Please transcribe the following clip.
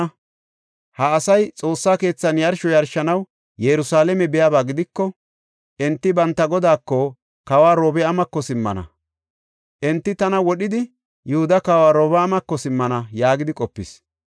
Ha asay Xoossa keethan yarsho yarshanaw Yerusalaame biyaba gidiko, enti banta godaako, kawa Robi7aamako simmana. Enti tana wodhidi, Yihuda kawa Robi7aamako simmana” yaagidi qopis.